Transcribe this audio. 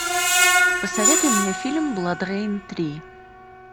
посоветуй мне фильм бладрейн три